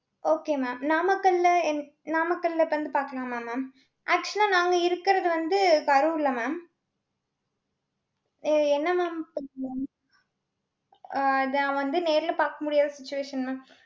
okay mam நாமக்கல்ல எந்~ நாமக்கல்ல இப்ப வந்து பாக்கலாமா mamactual லா நாங்க இருக்குறது வந்து, கரூர்ல mam. எ~ என்ன mam ஆஹ் நான் வந்து நேர்ல பாக்க முடியாத situation mam.